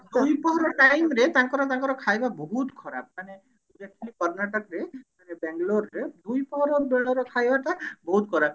ଦୁଇପହର time ରେ ତାଙ୍କର ତାଙ୍କର ଖାଇବା ବହୁତ ଖରାପ ମାନେ କର୍ଣ୍ଣାଟକ ରେ ବେଙ୍ଗେଲୋର ରେ ଖରା ବେଳର ଖାଇବା ଟା ବହୁତ ଖରାପ